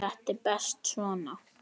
Þetta er best svona.